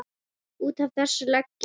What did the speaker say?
Út af þessu legg ég.